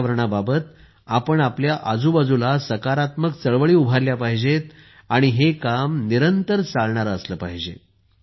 पर्यावरणाबाबत आपण आपल्या आजूबाजूला सकारात्मक चळवळी उभारल्या पाहिजेत आणि हे काम निरंतर चालणारे असले पाहिजे